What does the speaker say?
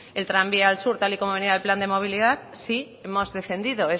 el tranvía al sur tal y como venía el plan de movilidad sí hemos defendido